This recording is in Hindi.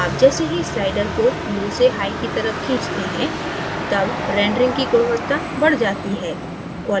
आप जैसे ही slider को lowसे highकी तरफ खींचतें हैं तब rendering कि गुणवत्ता बढ़ जाती है